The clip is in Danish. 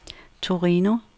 Torino